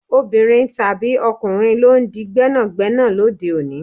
Obìnrin tàbí ọkùnrin lọ ń di gbẹ́nàgbẹ́nà lóde òní.